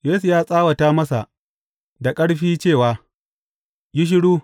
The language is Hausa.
Yesu ya tsawata masa da ƙarfin cewa, Yi shiru!